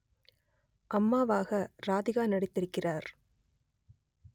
அம்மாவாக ராதிகா நடித்திருக்கிறார்